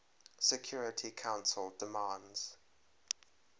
security council demands